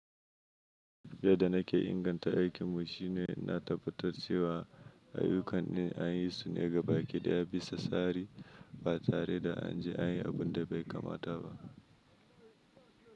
Yadda na ke inganta aikinmu shine na tabbatar cewa ayyukan in an yi su ne gaba ɗaya bisa tsari ba tare da an je an yi abin da bai kamata ba.